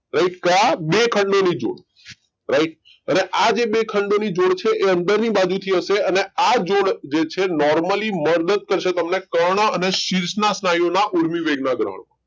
બે ખંડો ની જોડ રાઈટ અને આ જે બે ખંડો જોડ છે એ અંદર ની બાજુ થી હશે અને આ જોડ જે છે નોર્મલી મદદ કરશે તમને કર્ણ અને શીર્ષ ના સ્નાયુ ઓના ઊર્મિવેગ ના દ્રહણમાં.